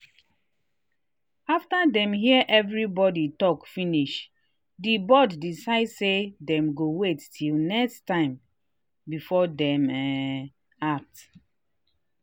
after dem hear everybody talk finish the board decide say dem go wait till next time before dem um act.